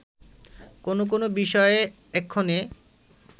কোন কোন বিষয়ে এক্ষণে